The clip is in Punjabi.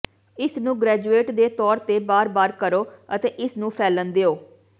ਇਸ ਨੂੰ ਗ੍ਰੈਜੂਏਟ ਦੇ ਤੌਰ ਤੇ ਬਾਰ ਬਾਰ ਕਰੋ ਅਤੇ ਇਸ ਨੂੰ ਫੈਲਣ ਦਿਓ